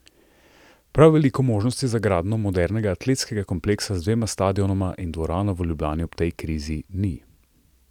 Prav veliko možnosti za gradnjo modernega atletskega kompleksa z dvema stadionoma in dvorano v Ljubljani ob tej krizi ni.